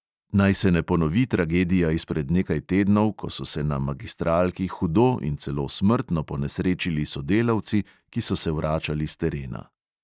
Naj se ne ponovi tragedija izpred nekaj tednov, ko so se na magistralki hudo in celo smrtno ponesrečili sodelavci, ki so se vračali s terena.